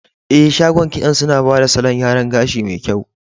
Eh, shagon kitson suna bada salon yaran gashi me kyau.